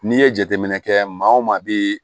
N'i ye jateminɛ kɛ maa wo maa bi